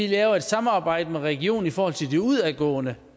laver et samarbejde med regionen i forhold til den udadgående